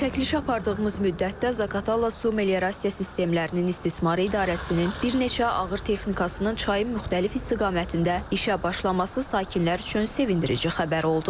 Çəkiliş apardığımız müddətdə Zaqatala su meliorasiya sistemlərinin istismar idarəsinin bir neçə ağır texnikasının çayın müxtəlif istiqamətində işə başlaması sakinlər üçün sevindirici xəbər oldu.